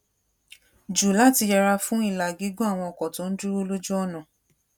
jù láti yẹra fún ìlà gígùn àwọn ọkò tó ń dúró lójú ònà